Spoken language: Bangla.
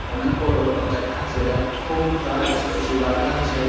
অনেক বড়ো অ দেখা আছে আর খুব গাছ ল লাগা আছে-এ।